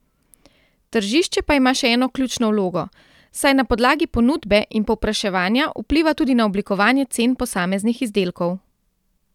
Tržišče pa ima še eno ključno vlogo, saj na podlagi ponudbe in povpraševanja vpliva tudi na oblikovanje cen posameznih izdelkov.